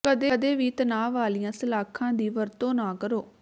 ਕਦੇ ਵੀ ਤਣਾਅ ਵਾਲੀਆਂ ਸਲਾਖਾਂ ਦੀ ਵਰਤੋਂ ਨਾ ਕਰੋ